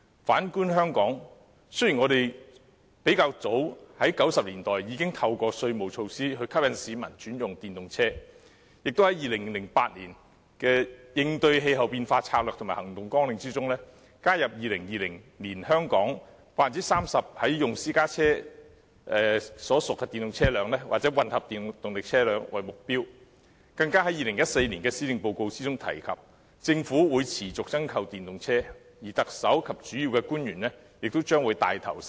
反觀香港，雖然我們早於1990年代已透過稅務措施吸引市民轉用電動車，亦在2008年的"香港應對氣候變化策略及行動綱領"中，加入2020年香港 30% 在用私家車屬電動車輛或混合動力車輛為目標，更在2014年的施政報告中提及政府會持續增購電動車，而特首及主要官員亦將會牽頭使用。